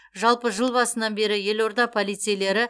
жалпы жыл басынан бері елорда полицейлері